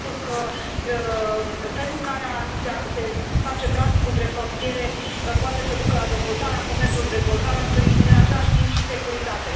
Sigur că felul în care se face traficul între frontiere poate să ducă la dezvoltarea comerțului, la dezvoltarea turismului, în același timp și securitate.